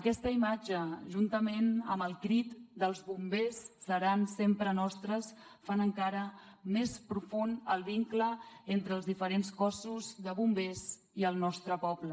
aquesta imatge juntament amb el crit d’ els bombers seran sempre nostres fa encara més profund el vincle entre els diferents cossos de bombers i el nostre poble